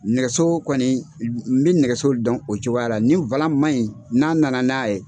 Nɛgɛso kɔni n bɛ nɛgɛso dɔn o cogoya la nin man ɲi n'a na na n'a ye